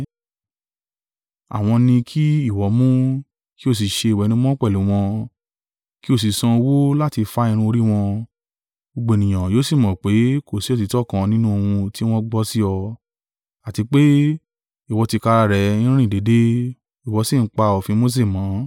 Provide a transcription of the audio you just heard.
Àwọn ni kí ìwọ mú, kí o sì ṣe ìwẹ̀nùmọ́ pẹ̀lú wọn, kí ó sì san owó láti fá irun orí wọn: gbogbo ènìyàn yóò sì mọ̀ pé, kò sì òtítọ́ kan nínú ohun tí wọ́n gbọ́ sí ọ; àti pé, ìwọ tìkára rẹ ń rìn déédé, ìwọ sì ń pa òfin Mose mọ́.